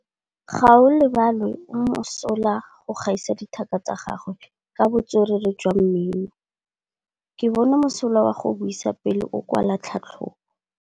Gaolebalwe o mosola go gaisa dithaka tsa gagwe ka botswerere jwa mmino. Ke bone mosola wa go buisa pele o kwala tlhatlhobô.